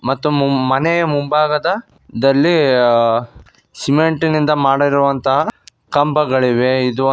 ಮತ್ತು ಮು ಮ್ಮ ಮನೆಯ ಮುಂಭಾಗದ ದಲ್ಲಿ ಸಿಮೆಂಟಿನಿಂದ ಮಾಡಿರುವಂತಹ ಕಂಬಗಳಿವೆ ಇದು--